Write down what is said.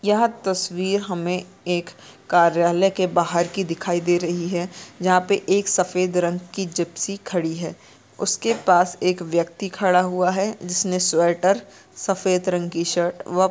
यह तस्वीर हमें एक कार्यालय के बाहर की दिखाई दे रही है जहाँ पे एक सफेद रंग की जिप्सी खड़ी है उसके पास एक व्यक्ति खड़ा हुआ है जिसने स्वेटर सफेद रंग की शर्ट व --